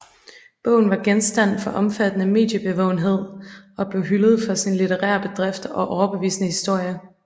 Bogen var genstand for omfattende mediebevågenhed og blev hyldet for sin litterære bedrift og overbevisende historie